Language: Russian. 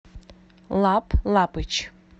лап лапыч